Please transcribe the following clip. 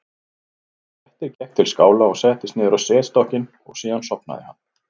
grettir gekk til skála og settist niður á setstokkinn og síðan sofnaði hann